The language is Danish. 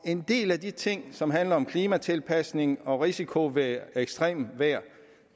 en del af de ting som handler om klimatilpasning og risiko ved ekstremt vejr